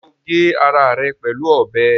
Ṣé o gé ara rẹ̀ pẹ̀lú ọbẹ̀?